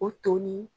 O to ni